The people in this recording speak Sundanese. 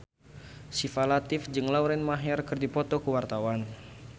Syifa Latief jeung Lauren Maher keur dipoto ku wartawan